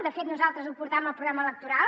de fet nosaltres ho portàvem al programa electoral